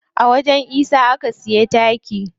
A wajen isa aka siya taki.